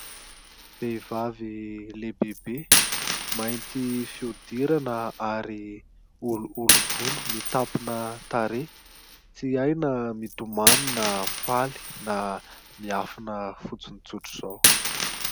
Vehivavy lehibehibe mainty fihodirana ary olioly volo ary mitampina tarehy, tsy hay na mitomany na faly na miafina fotsiny tsotra izao.